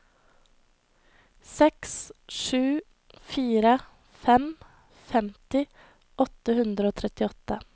seks sju fire fem femti åtte hundre og trettiåtte